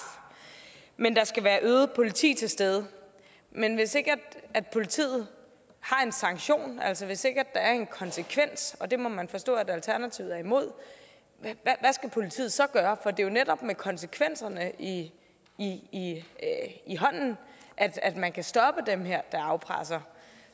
men at der skal være øget politi til stede men hvis ikke politiet har en sanktion altså hvis ikke der er en konsekvens og det må man forstå at alternativet er imod hvad skal politiet så gøre for det er jo netop med konsekvenserne i hånden at at man kan stoppe dem der afpresser